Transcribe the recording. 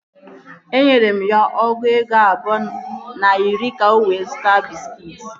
Enyere m ya ọgụ ego abụọ na iri ka o were zụta bịskit